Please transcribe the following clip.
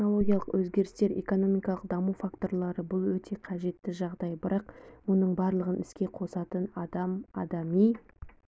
технологиялық өзгерістер экономикалық даму факторлары бұл өте қажетті жағдай бірақ мұның барлығын іске қосатын адам адами